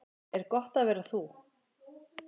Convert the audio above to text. Er gott að vera þú?